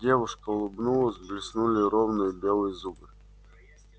девушка улыбнулась блеснули ровные белые зубы